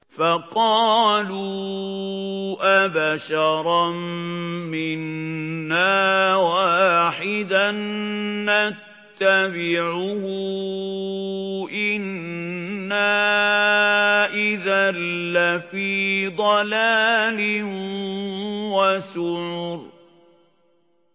فَقَالُوا أَبَشَرًا مِّنَّا وَاحِدًا نَّتَّبِعُهُ إِنَّا إِذًا لَّفِي ضَلَالٍ وَسُعُرٍ